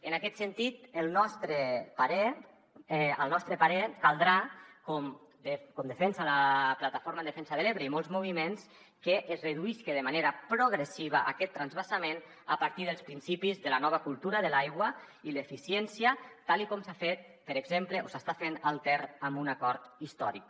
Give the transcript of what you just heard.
en aquest sentit al nostre parer caldrà com defensen la plataforma en defensa de l’ebre i molts moviments que es reduïsca de manera progressiva aquest transvasament a partir dels principis de la nova cultura de l’aigua i l’eficiència tal com s’ha fet per exemple o s’està fent al ter amb un acord històric